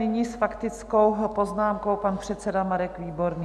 Nyní s faktickou poznámkou pan předseda Marek Výborný.